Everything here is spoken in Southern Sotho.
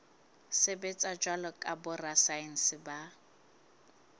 sebetsa jwalo ka borasaense ba